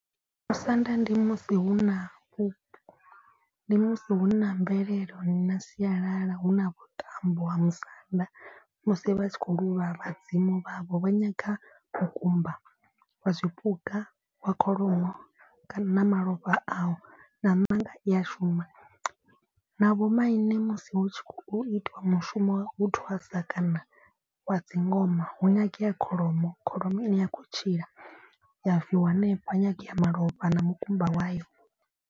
Musanda ndi musi hu na vhu ndi musi hu na mvelelo na sialala hu na vhuṱambo ha musanda. Musi vha tshi khou luvha vhadzimu vhavho vha nyaga mukumba wa zwipuka wa kholomo kana na malofha ayo. Na maṋanga i a shuma na vho maine musi hu tshi khou itiwa mushumo wo thwasa kana wa dzi ngoma hu nyangea kholomo. Kholomo ine ya khou tshila ya v wa hanefha nyangea malofha na mukumba wayo.